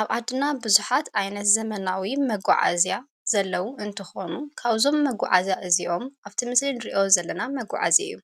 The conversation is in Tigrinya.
ኣብ ኣድና ብዙኃት ኣይነት ዘመናዊ መጓዓእዝያ ዘለዉ እንተኾኑ ካውዞም መጕዓእዚያ እዚዮም ኣብቲ ምስልን ርእዮ ዘለና መጕዓእዚ እዩ